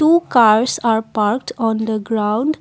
two cars are Parked on the ground